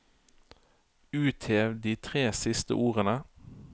Uthev de tre siste ordene